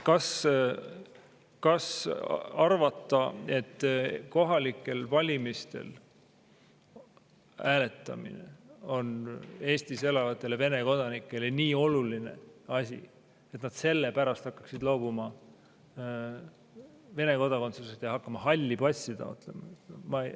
Kas arvata, et kohalikel valimistel hääletamine on Eestis elavatele Vene kodanikele nii oluline asi, et nad selle pärast loobuvad Vene kodakondsusest ja hakkavad halli passi taotlema?